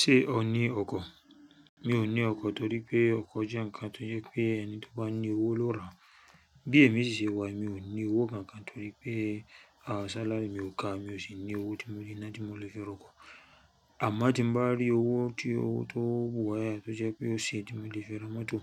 Ṣé o ní ọkọ̀? Mi ò ní ọkọ̀ torí pé ọkọ̀ jẹ́ ǹkan tó yẹ pé ẹni tó bá ní owó ló ra. Bí èmi sì ṣe wà yì èmi ò ní owó kankan torí pé sálàrì mi ò ka mi ò sì ní owó tí mo lè ná tí mo lè fi rọkọ̀. Àmọ́ tí mo bá rí owó tí ó tó bùayé a tó jẹ́ pé ó ṣe é tí mo lè fi ra mọ́tò,